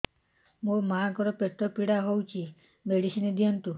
ମୋ ମାଆଙ୍କର ପେଟ ପୀଡା ହଉଛି ମେଡିସିନ ଦିଅନ୍ତୁ